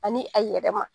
Ani a yɛrɛ ma